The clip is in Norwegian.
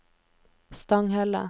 Stanghelle